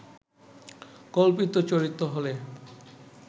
কল্পিত চরিত্র হলে